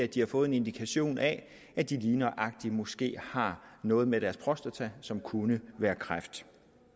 de har fået en indikation af at de lige nøjagtig måske har noget med deres prostata som kunne være kræft